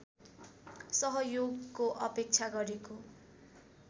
सहयोगको अपेक्षा गरेको